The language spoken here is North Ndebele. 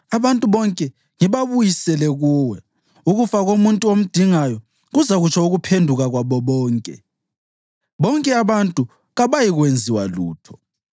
abantu bonke ngibabuyisele kuwe. Ukufa komuntu omdingayo kuzakutsho ukuphenduka kwabo bonke; bonke abantu kabayikwenziwa lutho.”